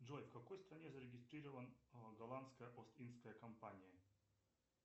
джой в какой стране зарегистрирована голландская ост индская компания